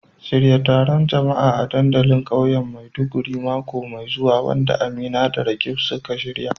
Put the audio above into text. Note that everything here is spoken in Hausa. Shirya taron jama'a a dandalin kauyen Maiduguri mako mai zuwa, wanda Amina da Roqeeb suka shirya.